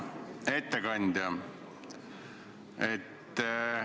Hea ettekandja!